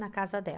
Na casa dela.